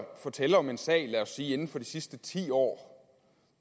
fortælle om en sag lad os sige inden for de sidste ti år